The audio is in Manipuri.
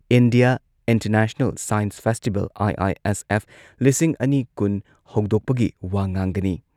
India International Science Festival, IISF ꯂꯤꯁꯤꯡ ꯑꯅꯤ ꯀꯨꯟ ꯍꯧꯗꯣꯛꯄꯒꯤ ꯋꯥ ꯉꯥꯡꯒꯅꯤ ꯫